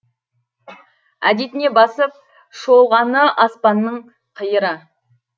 әдетіне басып шолғаны аспанның қиыры